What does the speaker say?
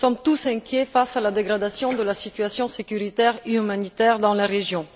Nous sommes tous inquiets face à la dégradation de la situation sécuritaire et humanitaire dans la région.